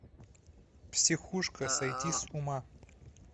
психушка сойти с ума